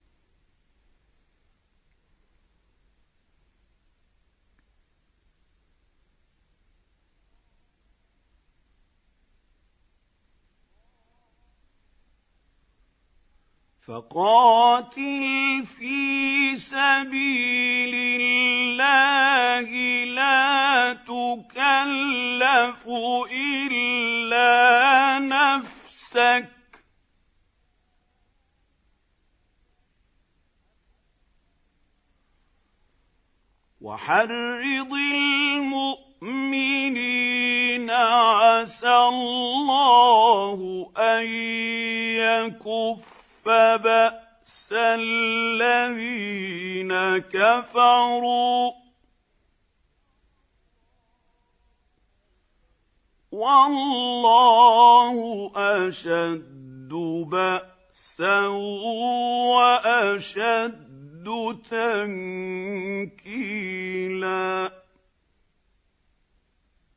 فَقَاتِلْ فِي سَبِيلِ اللَّهِ لَا تُكَلَّفُ إِلَّا نَفْسَكَ ۚ وَحَرِّضِ الْمُؤْمِنِينَ ۖ عَسَى اللَّهُ أَن يَكُفَّ بَأْسَ الَّذِينَ كَفَرُوا ۚ وَاللَّهُ أَشَدُّ بَأْسًا وَأَشَدُّ تَنكِيلًا